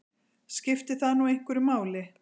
Skiptir það nú einhverju máli?